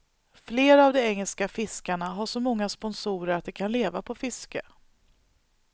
Flera av de engelska fiskarna har så många sponsorer att de kan leva på fiske.